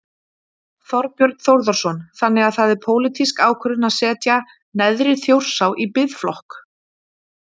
Þorbjörn Þórðarson: Þannig að það er pólitísk ákvörðun að setja neðri Þjórsá í biðflokk?